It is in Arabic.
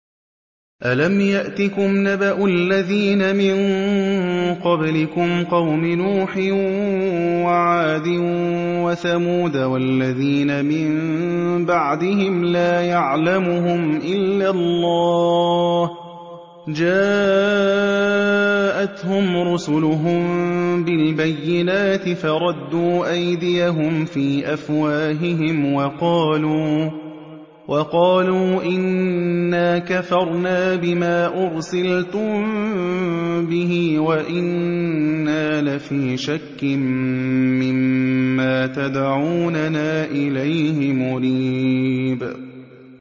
أَلَمْ يَأْتِكُمْ نَبَأُ الَّذِينَ مِن قَبْلِكُمْ قَوْمِ نُوحٍ وَعَادٍ وَثَمُودَ ۛ وَالَّذِينَ مِن بَعْدِهِمْ ۛ لَا يَعْلَمُهُمْ إِلَّا اللَّهُ ۚ جَاءَتْهُمْ رُسُلُهُم بِالْبَيِّنَاتِ فَرَدُّوا أَيْدِيَهُمْ فِي أَفْوَاهِهِمْ وَقَالُوا إِنَّا كَفَرْنَا بِمَا أُرْسِلْتُم بِهِ وَإِنَّا لَفِي شَكٍّ مِّمَّا تَدْعُونَنَا إِلَيْهِ مُرِيبٍ